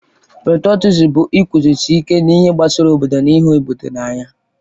Petrọtịzịm bụ iguzosị ike n'ihe gbasara obodo na ịhụ obodo n'anya.